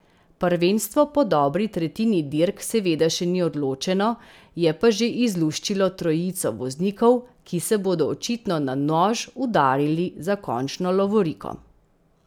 Prvenstvo po dobri tretjini dirk seveda še ni odločeno, je pa že izluščilo trojico voznikov, ki se bodo očitno na nož udarili za končno lovoriko.